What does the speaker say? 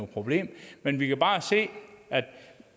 problem men vi kan bare se at